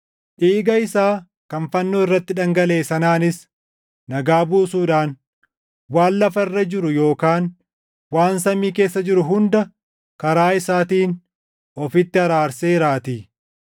dhiiga isaa kan fannoo irratti dhangalaʼe sanaanis nagaa buusuudhaan waan lafa irra jiru yookaan waan samii keessa jiru hunda karaa isaatiin ofitti araarseeraatii.